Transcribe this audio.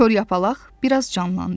Kor yapalaq bir az canlandı.